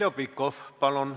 Heljo Pikhof, palun!